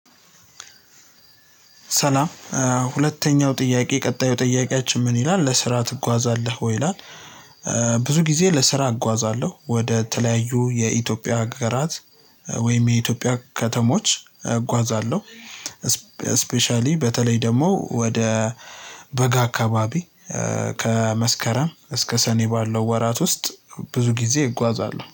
ሰላም ሁለተኛው ጥያቄ ቀጣዩ ጥያቄያችን ምን ይላል ለስራ ትጓዛለህ ወይ? ይላል ብዙ ጊዜ ለስራ እጓዛለሁ ወደ የተለያዩ የኢትዮጵያ ሀገራት ወይም የኢትዮጵያ ከተሞች እጓዛለሁ ስፔሻሊ በተለይ ደግሞ ወደ በጋ አካባቢ ከመስከረም እስከ ሰኔ ባለው ወራት ውስጥ ብዙ ጊዜ እጓዛለሁ